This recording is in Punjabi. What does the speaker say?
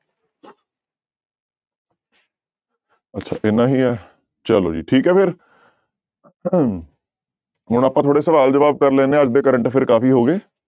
ਅੱਛਾ ਇੰਨਾ ਹੀ ਹੈ ਚਲੋ ਜੀ ਠੀਕ ਹੈ ਫਿਰ ਹੁਣ ਆਪਾਂ ਥੋੜ੍ਹਾ ਸਵਾਲ ਜਵਾਬ ਕਰ ਲੈਂਦੇ ਹਾਂ ਅੱਜ ਦੇ current affair ਕਾਫ਼ੀ ਹੋ ਗਏ